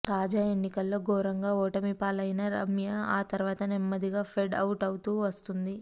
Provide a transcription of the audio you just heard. తాజా ఎన్నికల్లో ఘోరంగా ఓటమిపాలు అయిన రమ్య ఆ తర్వాత నెమ్మదిగా ఫెడ్ అవుట్ అవుతూ వస్తున్నది